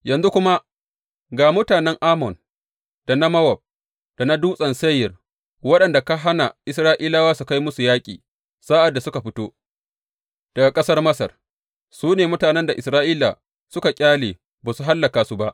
Yanzu kuma ga mutanen Ammon, da na Mowab, da na Dutsen Seyir, waɗanda ka hana Isra’ilawa su kai musu yaƙi sa’ad da suka fito daga ƙasar Masar, su ne mutanen da Isra’ila suka ƙyale, ba su hallaka su ba.